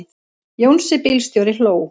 Jónsi bílstjóri hló.